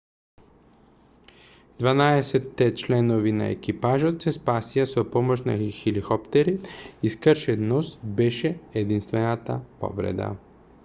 дванаесетте членови на екипажот се спасија со помош на хеликоптери и скршен нос беше единствената повреда